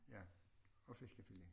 Ja og fiskefilet